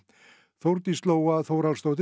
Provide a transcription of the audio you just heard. Þórdís Lóa